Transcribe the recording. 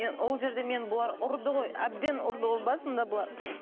ол жерде мені бұлар ұрды ғой әбден ұрды ғой басында бұлар